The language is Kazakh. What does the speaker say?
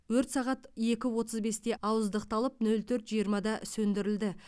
өрт сағат екі отыз бесте ауыздықталып нөл төрт жиырмада сөндірілді